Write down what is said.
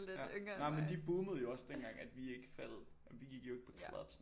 Nej men de boomede jo også dengang vi ikke fattede det vi gik jo ikke på clubs